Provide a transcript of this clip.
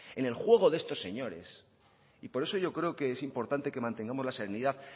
en el juego de estos señores y por eso yo creo que es importante que mantengamos la serenidad